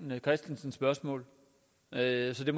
måde at det